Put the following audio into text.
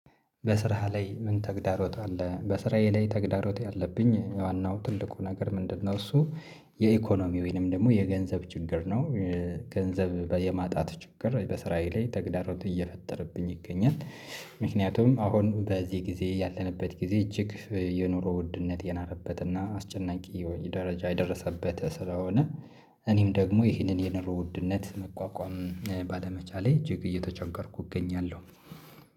በስራህ ላይ ምን ተግዳሮት አለ? በስራዬ ላይ ተግዳሮት ያለብኝ ዋናው ትልቁ ነገር ምንድነው? እሱ የኢኮኖሚ ወይንም ደግሞ የገንዘብ ችግር ነው። ገንዘብ የማጣት ችግር በስራዬ ላይ ተግዳሮት እየፈጠረብኝ ይገኛል። ምክንያቱም አሁን በዚህ ጊዜ ያለንበት ጊዜ እጅግ የኑሮ ውድነት የናረበትና አስጨናቂ የሆነ ደረጃ የደረሰበት ስለሆነ እኔም ደግሞ ይህንን የኑሮ ውድነት መቋቋም ባለመቻሌ እጅግ እየተቸገርኩ እገኛለሁ።